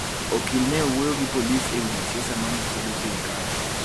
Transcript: Okil ne owuoyo gi polis e wi jasiisa ma ne kwedo sirkal.